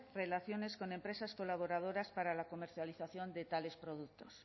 relaciones con empresas colaboradoras para la comercialización de tales productos